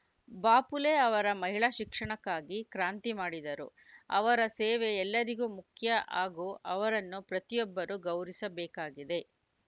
ಬಾಪುಲೆ ಅವರ ಮಹಿಳಾ ಶಿಕ್ಷಣಕ್ಕಾಗಿ ಕ್ರಾಂತಿ ಮಾಡಿದರು ಅವರ ಸೇವೆ ಎಲ್ಲರಿಗೂ ಮುಖ್ಯ ಹಾಗೂ ಅವರನ್ನು ಪ್ರತಿಯೊಬ್ಬರು ಗೌರಿಸಬೇಕಾಗಿದೆ